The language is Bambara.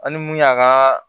An ni mun y'an ka